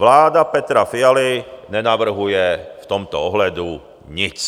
Vláda Petra Fialy nenavrhuje v tomto ohledu nic.